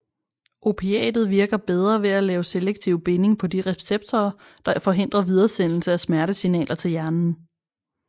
Opiatet virker bedre ved at lave selektiv binding på de receptorer der forhindrer videresendelse af smertesignaler til hjernen